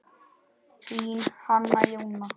Þín, Hanna Jóna.